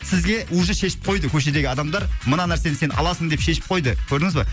сізге уже шешіп қойды көшедегі адамдар мына нәрсені сен аласың деп шешіп қойды көрдіңіз ба